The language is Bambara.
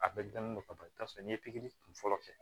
A bɛɛ dilannen don ka ban i bɛ taa sɔrɔ n'i ye pikiri kun fɔlɔ kɛ